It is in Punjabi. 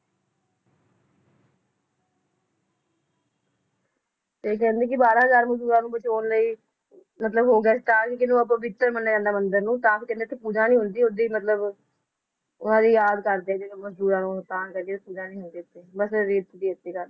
ਤੇ ਕਹਿੰਦੇ ਕਿ ਬਾਰ੍ਹਾਂ ਹਜ਼ਾਰ ਮਜਦੂਰਾਂ ਨੂੰ ਬਚਾਉਣ ਲਈ ਮਤਲਬ ਅਪਵਿੱਤਰ ਮਨਿਯਾ ਜਾਂਦਾ ਮੰਦਿਰ ਨੂੰ ਤਾਂ ਹੀ ਕਹਿੰਦੇ ਇਥੇ ਪੂਜਾ ਨੀ ਹੁੰਦੀ ਓਦਾਂ ਹੀ ਮਤਲਬ ਉਹਨਾਂ ਦੀ ਯਾਦ ਕਰਦੇ ਵੀ ਮਜਦੂਰਾਂ ਨੂੰ ਤਾਂ ਕਰਕੇ ਪੂਜਾ ਨੀ ਹੁੰਦੀ ਇਥੇ ਬੱਸ ਰੀਤ ਜੀ ਚਾਲੀ ਜਾ ਰਹੀ ਹੈ ਅੱਗੇ